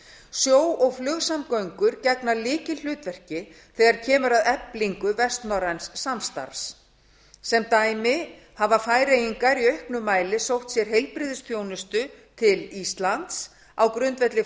sjó og flugsamgöngur gegna lykilhlutverki þegar kemur að eflingu vestnorræns samstarfs sem dæmi hafa færeyingar í auknum mæli sótt sér heilbrigðisþjónustu til íslands á grundvelli